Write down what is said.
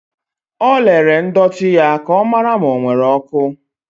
O lere ndọtị ya ka ọ mara ma ọ nwere oku.